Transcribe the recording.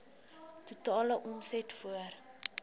totale omset voor